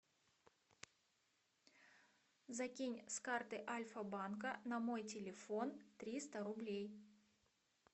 закинь с карты альфа банка на мой телефон триста рублей